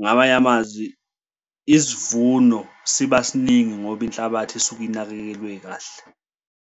ngamanye amazwi isivuno siba siningi ngoba inhlabathi isuke inakekelwe kahle.